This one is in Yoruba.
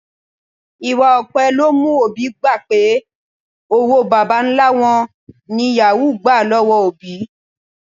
Ìwà òpè ló mú òbí gbà pé owó bàbá-ńlá wọn ní yàwúù gbà lọ́wọ́ òbí